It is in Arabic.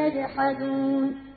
يَجْحَدُونَ